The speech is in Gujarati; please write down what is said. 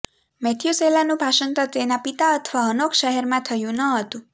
મેથ્યુસેલાહનું ભાષાંતર તેના પિતા અથવા હનોખ શહેરમાં થયું ન હતું